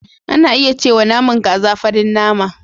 Ana iya cewa naman kaza farin nama.